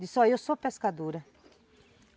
Disse, olhe, eu sou pescadora.